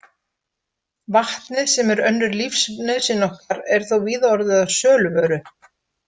Vatnið, sem er önnur lífsnauðsyn okkar, er þó víða orðið að söluvöru.